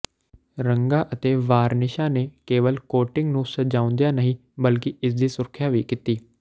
ਰੰਗਾਂ ਅਤੇ ਵਾਰਨਿਸ਼ਾਂ ਨੇ ਕੇਵਲ ਕੋਟਿੰਗ ਨੂੰ ਸਜਾਉਂਦਿਆਂ ਨਹੀਂ ਬਲਕਿ ਇਸਦੀ ਸੁਰੱਖਿਆ ਵੀ ਕੀਤੀ